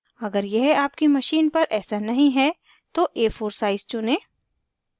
अगर यह आपकी machine पर ऐसा नहीं है तो a4 size चुनें